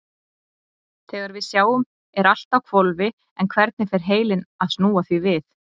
Þegar við sjáum er allt á hvolfi en hvernig fer heilinn að snúa því við?